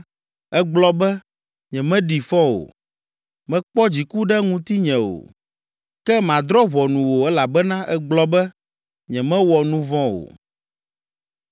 ègblɔ be, ‘Nyemeɖi fɔ o. Mekpɔ dziku ɖe ŋutinye o.’ Ke madrɔ̃ ʋɔnu wò elabena ègblɔ be, ‘Nyemewɔ nu vɔ̃ o.’